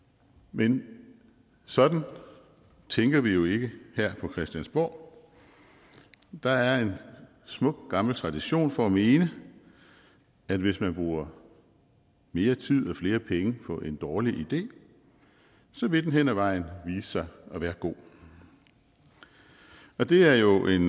men sådan tænker vi jo ikke her på christiansborg der er en smuk gammel tradition for at mene at hvis man bruger mere tid og flere penge på en dårlig idé så vil den hen ad vejen vise sig at være god det er jo en